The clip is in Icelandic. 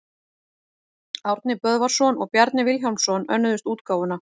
Árni Böðvarsson og Bjarni Vilhjálmsson önnuðust útgáfuna.